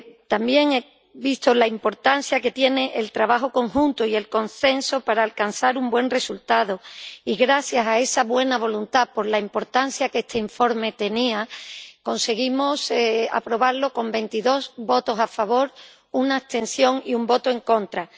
También he visto la importancia que tiene el trabajo conjunto y el consenso para alcanzar un buen resultado, y gracias a esa buena voluntad, por la importancia que este informe tenía, conseguimos aprobarlo con 22 votos a favor, una abstención y un voto en contra.